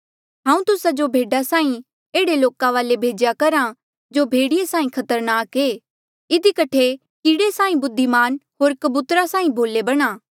हांऊँ तुस्सा जो भेडा साहीं एह्ड़े लोका वाले भेज्या करहा जो भेड़िये साहीं खतरनाक ऐें इधी कठे कीड़े साहीं बुद्धिमान होर कबूतरा साहीं भोले बणा